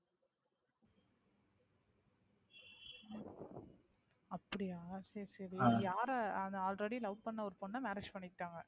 அப்படியா சரி சரி, யார already love பண்ண ஒரு பொண்ண marriage பண்ணிக்கிட்டாங்க.